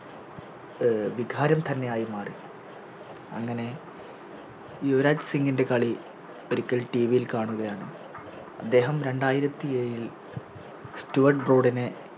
അഹ് വികാരം തന്നെയായി മാറി അങ്ങനെ യുവരാജ് സിംഗിന്റെ കളി ഒരിക്കൽ TV യിൽ കാണുകയാണ് അദ്ദേഹം രണ്ടായിരത്തിയേഴിൽ സ്റ്റുവഡ് ബ്രോഡാനെ